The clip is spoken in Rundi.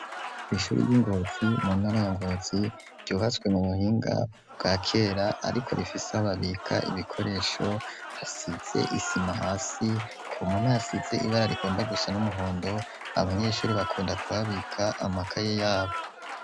Kw'ishuri ry'ingozi mu ntarayangozi ryubaswe mu buhinga bwa kera, ariko rifise hobabika ibikoresho hasize isima hasi kumumwe hasize ibara rigomba gusa n'umuhondo abanyeshuri bakunda kubabika amaka ye yabo.